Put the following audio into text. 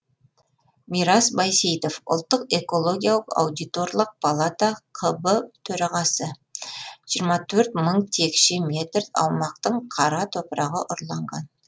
мирас байсейітов ұлттық экологиялық аудиторлық палата қб төрағасы жиырма төрт мың текше метр аумақтың қара топырағы ұрланған